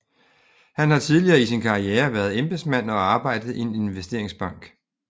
Han har tidligere i sin karriere været embedsmand og arbejdet i en investeringsbank